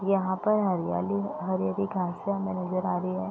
यहाँ पर हरियाली हरी-हरी घासे हमें नजर आ रही है।